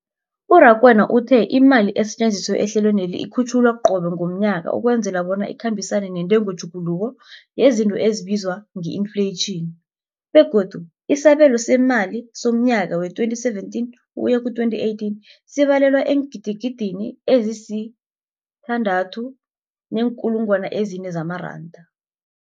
U-Rakwena uthe imali esetjenziswa ehlelweneli ikhutjhulwa qobe ngomnyaka ukwenzela bona ikhambisane nentengotjhuguluko yezinto ebizwa nge-infleyitjhini, begodu isabelo seemali somnyaka we-2017 ukuya ku-2018 sibalelwa eengidigidini ezisi-6.4 zamaranda.